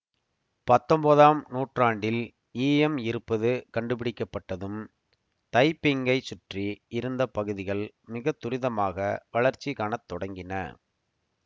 பத்தொன்பதாம் நூற்றாண்டில் ஈயம் இருப்பது கண்டுபிடிக்கப் பட்டதும் தைப்பிங்கைச் சுற்றி இருந்த பகுதிகள் மிக துரிதமாக வளர்ச்சி காண தொடங்கின